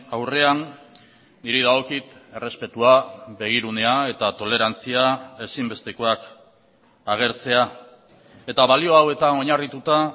aurrean niri dagokit errespetua begirunea eta tolerantzia ezinbestekoak agertzea eta balio hauetan oinarrituta